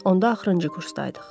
Onda axırıncı kursdaydıq.